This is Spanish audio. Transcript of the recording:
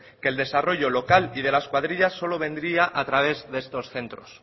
que el desarrollo local y de las cuadrillas solo vendría a través de estos centros